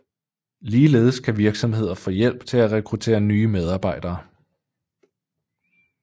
Ligeledes kan virksomheder få hjælp til at rekruttere nye medarbejdere